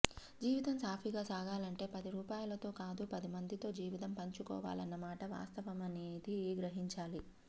జీవితం సాఫీగా సాగాలంటే పది రూపాయలతో కాదు పది మందితో జీవితం పంచుకోవాలన్న మాట వాస్తమనేది గ్రహించాలి